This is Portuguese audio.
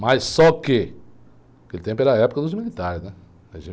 Mas só que, aquele tempo era a época dos militares, né?